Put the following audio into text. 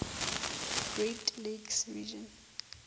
great lakes region